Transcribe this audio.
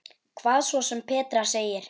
Hvað svo sem Petra segir.